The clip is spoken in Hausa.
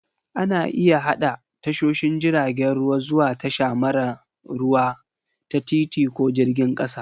Ana iya haɗa tashoshin jiragen ruwa zuwa tasha mara ruwa ta titi ko jirgin ƙasa